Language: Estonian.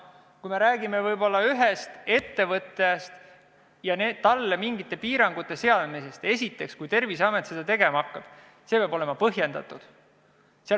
Kui me räägime ühest ettevõtjast ja talle mingisuguste piirangute seadmisest, siis esiteks, kui Terviseamet seda tegema hakkab, peab see otsus olema põhjendatud.